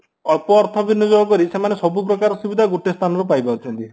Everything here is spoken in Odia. ଅଳ୍ପ ଅର୍ଥ ବିନିଯୋଗ କରି ସେମାନେ ସବୁପ୍ରକାର ସୁବିଧା ଗୋଟିଏ ସ୍ଥାନରୁ ପାଇପାରୁଛନ୍ତି